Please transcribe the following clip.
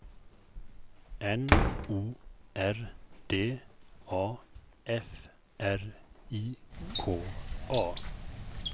N O R D A F R I K A